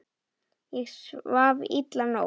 Ég svaf illa í nótt.